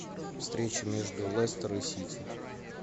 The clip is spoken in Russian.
встреча между лестер и сити